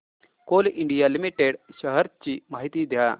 Coal India Limited shares ची माहिती द्या